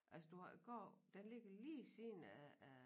Altså du har går den ligger sådan lige ved siden af af